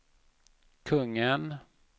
kungen